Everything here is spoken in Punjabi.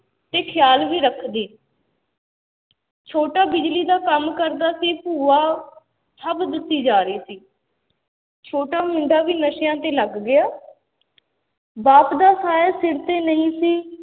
ਤੇ ਖਿਆਲ ਵੀ ਰੱਖਦੀ ਛੋਟਾ ਬਿਜ਼ਲੀ ਦਾ ਕੰਮ ਕਰਦਾ ਸੀ ਭੂਆ ਸਭ ਦੱਸੀ ਜਾ ਰਹੀ ਸੀ ਛੋਟਾ ਮੁੰਡਾ ਵੀ ਨਸ਼ਿਆਂ ਤੇ ਲੱਗ ਗਿਆ ਬਾਪ ਦਾ ਛਾਇਆ ਸਿਰ ਤੇ ਨਹੀਂ ਸੀ